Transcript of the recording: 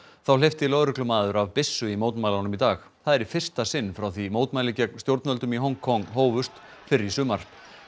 þá hleypti lögreglumaður af byssu í mótmælunum í dag það er í fyrsta sinn frá því mótmæli gegn stjórnvöldum í Hong Kong hófust fyrr í sumar